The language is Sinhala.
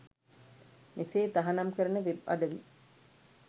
මෙසේ තහනම් කරන වෙබ් අඩවි